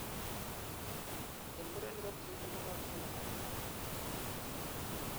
en murenik ko tubit negoi nebunei tarityet.